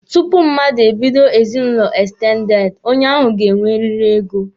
Tupu mmadụ e bido ezinụlọ ekstendede, onye ahụ ga-enweriri ego.